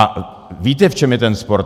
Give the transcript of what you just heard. A víte, v čem je ten spor?